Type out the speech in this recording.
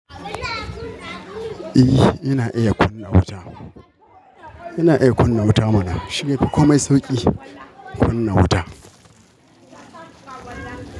Eh, ina iya kunna wuta. Ina iya kunna wuta mana. Shiyafi komai sauki, kunna wuta.